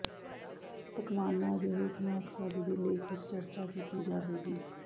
ਪਕਵਾਨਾ ਅਜਿਹੇ ਸਨੈਕਸ ਅੱਜ ਦੇ ਲੇਖ ਵਿਚ ਚਰਚਾ ਕੀਤੀ ਜਾਵੇਗੀ